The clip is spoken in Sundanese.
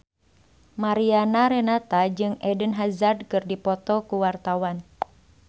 Mariana Renata jeung Eden Hazard keur dipoto ku wartawan